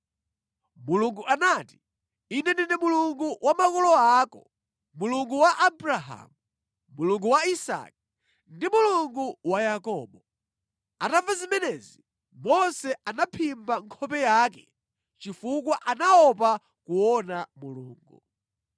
Mulungu anati, “Ine ndine Mulungu wa makolo ako, Mulungu wa Abrahamu, Mulungu wa Isake, ndi Mulungu wa Yakobo.” Atamva zimenezi, Mose anaphimba nkhope yake chifukwa anaopa kuona Mulungu.